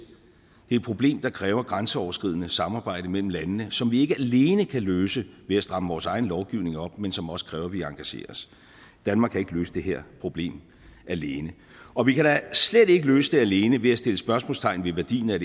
det er et problem der kræver grænseoverskridende samarbejde mellem landene og som vi ikke alene kan løse ved at stramme vores egen lovgivning op men som også kræver at vi engagerer os danmark kan ikke løse det her problem alene og vi kan da slet ikke løse det alene ved at sætte spørgsmålstegn ved værdien af